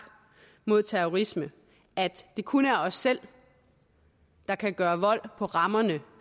mod terrorisme at det kun er os selv der kan gøre vold på rammerne